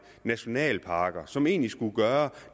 nationalparker som egentlig skulle gøre